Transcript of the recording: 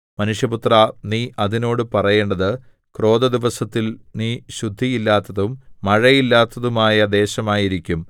മനുഷ്യപുത്രാ നീ അതിനോട് പറയേണ്ടത് ക്രോധദിവസത്തിൽ നീ ശുദ്ധിയില്ലാത്തതും മഴയില്ലാത്തതുമായ ദേശമായിരിക്കും